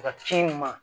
Ka ci ɲuman ma